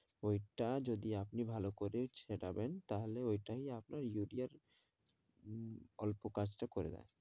ওইটা যদি আপনি ভালো করে ছড়াবেন তাহলে ওইটাই আপনার ইউরিয়ার উম অল্প কাজ তা করে দেয়